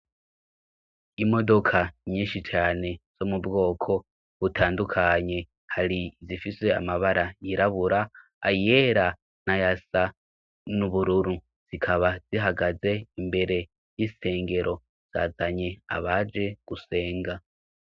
Imodoka nyinshi cane, zo mubwoko butandukanye, hari izifise amabara yirabura, ayera, na yasa n'ubururu ,zikaba zihagaze imbere y'isengero, zazanye abaje gusenga.